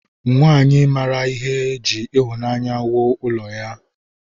Nwanyị mara ihe ji ịhụnanya wuo ụlọ ya.